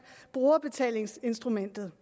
brugerbetalingsinstrumentet